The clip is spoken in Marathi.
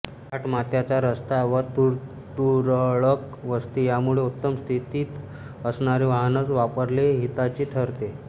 घाटमाथ्याचा रस्ता व तुरळक वस्ती यामुळे उत्तम स्थितीत असणारे वाहनच वापरणे हिताचे ठरते